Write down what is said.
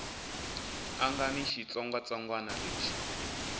a nga ni xitsongwatsongwana lexi